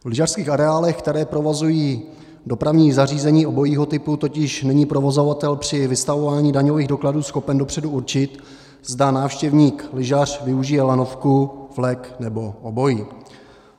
V lyžařských areálech, které provozují dopravní zařízení obojího typu, totiž není provozovatel při vystavování daňových dokladů schopen dopředu určit, zda návštěvník-lyžař využije lanovku, vlek nebo obojí.